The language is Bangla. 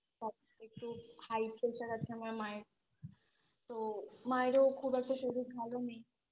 তারপর একটু High pressure আছে আমার মায়ের তো মায়ের খুব একটা শরীর ভালো নেই